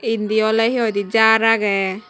endi ole he hoi de jar aagey.